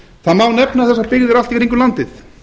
það má nefna þessar byggðir allt í kringum landið